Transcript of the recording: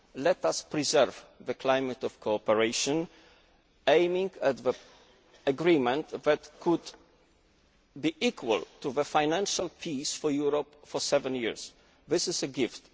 Let us preserve the climate of cooperation, aiming at an agreement that could be equal to financial peace for Europe for seven years. This is a